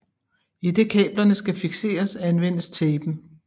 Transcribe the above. Idet kablerne skal fikseres anvendes tapen